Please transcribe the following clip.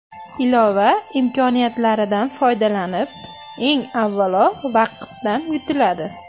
Ilova imkoniyatlaridan foydalanib, eng avvalo vaqtdan yutiladi.